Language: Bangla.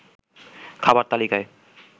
খাবার তালিকায়